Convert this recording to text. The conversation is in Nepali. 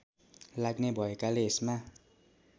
लाग्ने भएकाले यसमा